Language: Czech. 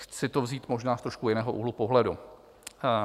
Chci to vzít možná z trošku jiného úhlu pohledu.